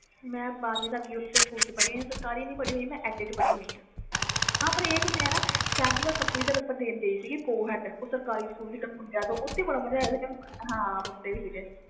ਮੈਂ ਬਾਰ੍ਹਵੀਂ ਤਕ ਪੜ੍ਹੀ ਹੋਈ ਆ ਮੈਂ ਸਰਕਾਰੀ ਸਕੂਲ ਨਹੀਂ ਪੜ੍ਹੀ private ਪੜ੍ਹੀ ਹੋਈ ਆ ਹਾਂ ਮਈ ਦਾ ਪੇਪਰ ਦੇਣ ਗਈ ਸੀ sapply ਦਾ ਓਥੇ ਮੁੰਡੇ ਵੀ ਸੀ